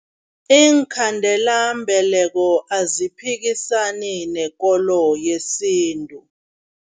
Iinkhandelambeleko aziphikisani nekolo yesintu.